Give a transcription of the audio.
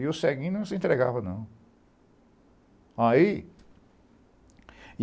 E o ceguinho não se entregava, não.